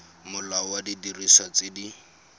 molao wa didiriswa tse di